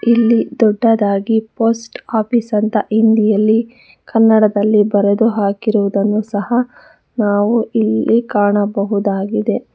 ಇಲ್ಲಿ ದೊಡ್ಡದಾಗಿ post office ಅಂತ ಹಿಂದಿಯಲ್ಲಿ ಕನ್ನಡದಲ್ಲಿ ಬರೆದು ಹಾಕಿರುದನ್ನು ಸಹ ನಾವು ಇಲ್ಲಿ ಕಾಣಬಹುದಾಗಿದೆ.